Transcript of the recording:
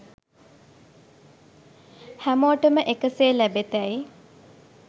හැමෝටම එකසේ ලැබෙතැයි